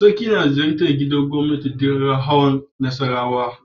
Sarki yana ziyartar gidan gobnati duk ranar hawan Nassarawa.